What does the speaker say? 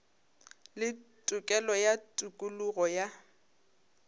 le tokelo ya tokologo ya